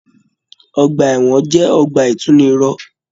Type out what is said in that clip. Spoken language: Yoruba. Ọgbà ẹwọn jẹ ọgbà itunirọ̀.